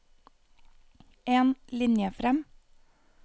En linje fram